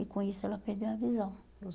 E com isso ela perdeu a visão.